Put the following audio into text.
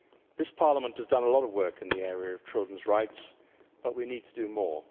This Parliament has done a lot of work in the area of children's rights, but we need to do more.